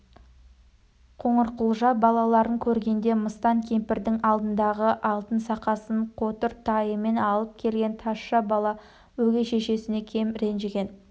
қоңырқұлжа балаларын көргенде мыстан кемпірдің алдындағы алтын сақасын қотыр тайымен алып келген тазша бала өгей шешесінен кем ренжіген